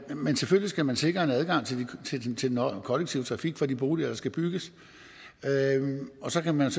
men selvfølgelig skal man sikre en adgang til den kollektive trafik for de boliger der skal bygges og så kan man